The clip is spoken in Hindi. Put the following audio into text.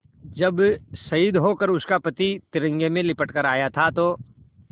जब शहीद होकर उसका पति तिरंगे में लिपट कर आया था तो